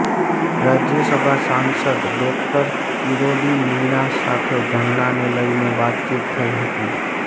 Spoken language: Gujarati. રાજ્યસભા સાંસદ ડોક્ટર કિરોડી મીણા સાથે ધરણાને લઈને વાતચીત થઈ હતી